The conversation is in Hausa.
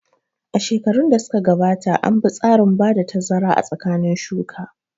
A shekarun da suka gabata an bi tsarin bada tazara a tsakanin shuka